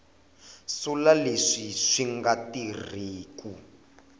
sula leswi swi nga tirhiku